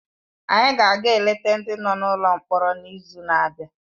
Anyị ga-aga eleta ndị nọ n’ụlọ mkpọrọ n’izu na-abịa.